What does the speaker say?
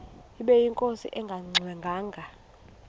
ubeyinkosi engangxe ngwanga